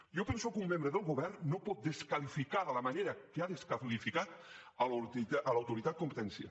jo penso que un membre del govern no pot desqualificar de la manera que ha desqualificat l’autoritat de la competència